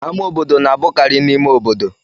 Ámá obodo na-abụkarị n'ime obodo.